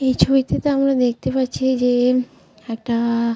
এই ছবিটিতে আমরা দেখতে পাচ্ছি যে-এ একটা-আ--